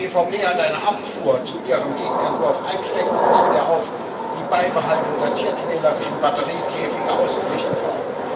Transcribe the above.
Die EVP hat eine Abfuhr zu ihrem Gegenentwurf einstecken müssen, der auf die Beibehaltung der tierquälerischen Batteriekäfige ausgerichtet war.